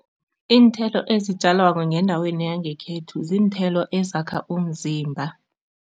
Iinthelo ezitjalwako ngendaweni yangekhethu ziinthelo ezakha umzimba.